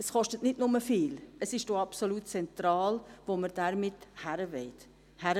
Es kostet nicht nur viel, es ist auch absolut zentral, wohin wir damit wollen.